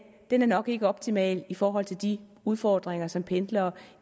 nok ikke er optimal i forhold til de udfordringer som pendlere